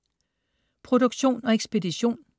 Produktion og ekspedition: